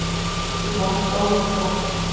í von um stól eða tvo